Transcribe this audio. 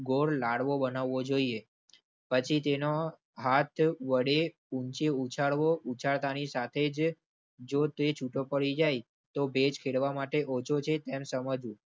ગોળ લાડવો બનાવવો જોઈએ પછી તેનો હાહ વડે ઉંચે ઉછાળવો અને ઉછળતા ની સાથે જો તે છુટો પડી જાય તો ભેજ ખેડવા માટે ઓછો છે તેને સમજવુ.